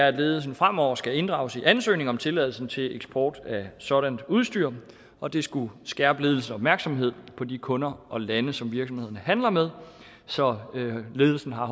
at ledelsen fremover skal inddrages i ansøgning om tilladelse til eksport af sådant udstyr og det skulle skærpe ledelsens opmærksomhed på de kunder og lande som virksomhederne handler med så ledelsen har